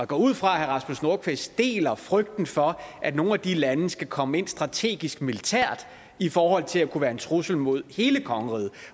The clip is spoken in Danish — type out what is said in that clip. går ud fra at herre rasmus nordqvist deler frygten for at nogle af de lande skal komme ind strategisk militært i forhold til at kunne være en trussel mod hele kongeriget